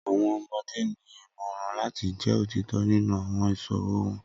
Awọn ọmọde ni imọran lati jẹ otitọ ninu awọn iṣowo wọn.